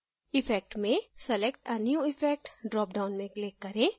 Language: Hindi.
effect में select a new effect dropdown में click करें